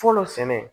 Fɔlɔ sɛnɛ